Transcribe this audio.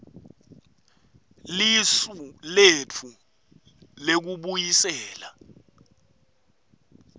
lisu letfu lekubuyisela